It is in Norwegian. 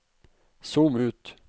zoom ut